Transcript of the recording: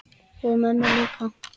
Og mömmu líka.